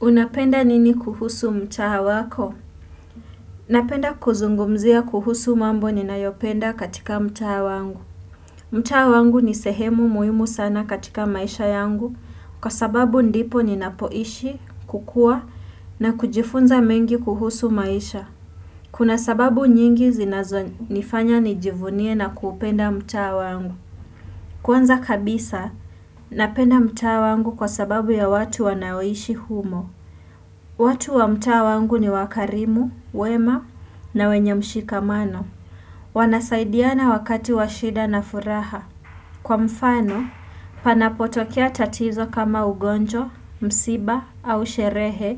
Unapenda nini kuhusu mtaa wako? Napenda kuzungumzia kuhusu mambo ninayopenda katika mtaa wangu. Mtaa wangu ni sehemu muhimu sana katika maisha yangu kwa sababu ndipo ninapoishi, kukua na kujifunza mengi kuhusu maisha. Kuna sababu nyingi zinazonifanya nijivunie na kupenda mtaa wangu. Kwanza kabisa, napenda mtaa wangu kwa sababu ya watu wanaoishi humo. Watu wa mtaa wangu ni wakarimu, wema na wenye mshikamano. Wanasaidiana wakati washida na furaha. Kwa mfano, panapotokea tatizo kama ugonjwa, msiba au sherehe,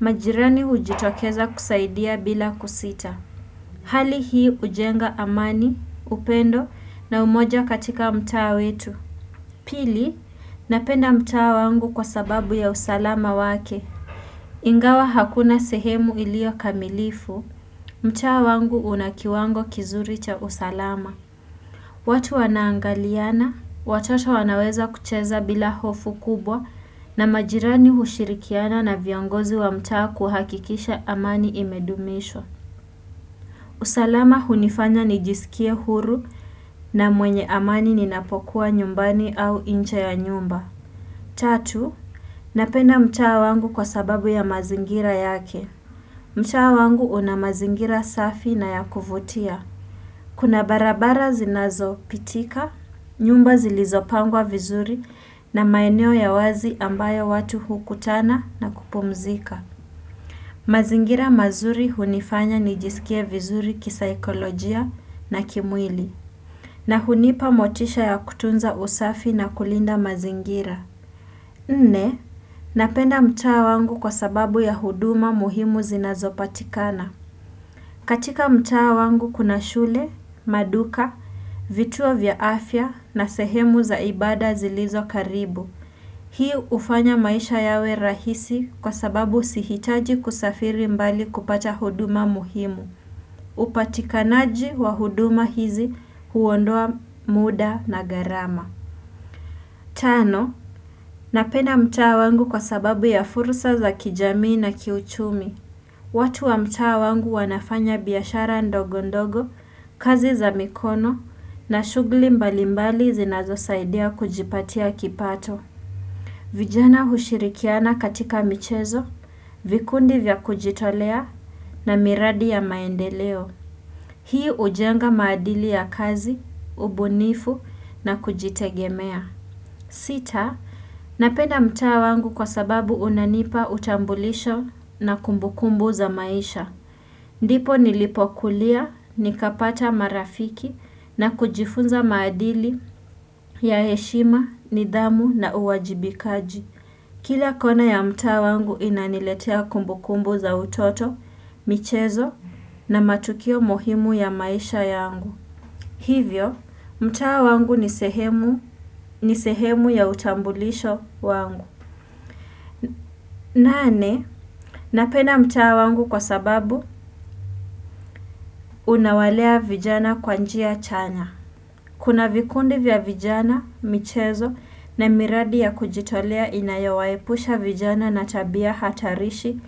majirani ujitokeza kusaidia bila kusita. Hali hii ujenga amani, upendo na umoja katika mtaa wetu. Pili, napenda mtawa wangu kwa sababu ya usalama wake. Ingawa hakuna sehemu ilio kamilifu, mtaa wangu una kiwango kizuri cha usalama. Watu wanaangaliana, watoto wanaweza kucheza bila hofu kubwa na majirani hushirikiana na viongozi wa mtaa kuhakikisha amani imedumishwa. Usalama hunifanya nijisikia huru na mwenye amani ninapokuwa nyumbani au inje ya nyumba. Tatu, napenda mtaa wangu kwa sababu ya mazingira yake. Mtaa wangu una mazingira safi na ya kuvutia. Kuna barabara zinazopitika, nyumba zilizopangwa vizuri na maeneo ya wazi ambayo watu huu ukutana na kupumzika. Mazingira mazuri hunifanya nijisikie vizuri kisaikolojia na kimwili. Na hunipa motisha ya kutunza usafi na kulinda mazingira. Nne, napenda mtaa wangu kwa sababu ya huduma muhimu zinazopatikana. Katika mtaa wangu kuna shule, maduka, vituo vya afya na sehemu za ibada zilizo karibu. Hii ufanya maisha yawe rahisi kwa sababu sihitaji kusafiri mbali kupata huduma muhimu. Upatikanaji wa huduma hizi huondoa muda na gharama. Tano, napenda mtaa wangu kwa sababu ya furusa za kijamii na kiuchumi. Watu wa mtaa wangu wanafanya biashara ndogo ndogo, kazi za mikono na shugli mbalimbali zinazosaidea kujipatia kipato. Vijana hushirikiana katika michezo, vikundi vya kujitolea na miradi ya maendeleo. Hii hujenga maadili ya kazi, ubunifu na kujitegemea. Sita, napenda mtaa wangu kwa sababu unanipa utambulisho na kumbukumbu za maisha. Ndipo nilipokulia, nikapata marafiki na kujifunza maadili ya heshima, nidhamu na uwajibikaji. Kila kona ya mtaa wangu inaniletea kumbukumbu za utoto, michezo na matukio mohimu ya maisha yangu. Hivyo, mtaa wangu ni sehemu ya utambulisho wangu. Nane, napenda mtaa wangu kwa sababu unawalea vijana kwa njia chanya. Kuna vikundi vya vijana, michezo na miradi ya kujitolea inayawaepusha vijana na tabia hatarishi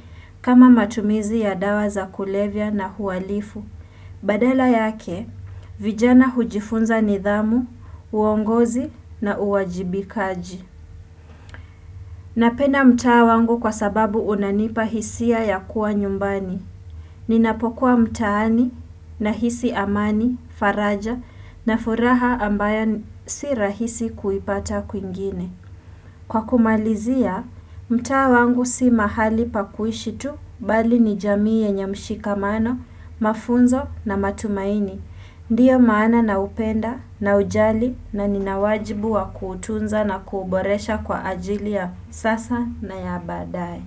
kama matumizi ya dawa za kulevya na hualifu. Badala yake, vijana hujifunza nidhamu, uongozi na uwajibikaji. Napenda mtaa wangu kwa sababu unanipa hisia ya kuwa nyumbani. Ninapokuwa mtaani nahisi amani, faraja na furaha ambayo si rahisi kuipata kwingine. Kwa kumalizia, mtaa wangu si mahali pa kuishi tu bali ni jamii yenye mshikamano, mafunzo na matumaini. Ndiyo maana naupenda naujali na ninawajibu wa kuutunza na kuboresha kwa ajili ya sasa na ya badae.